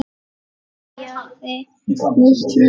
Byrjaði nýtt líf.